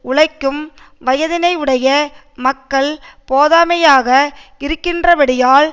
உழைக்கும் வயதினையுடைய மக்கள் போதாமையாக இருக்கின்றபடியால்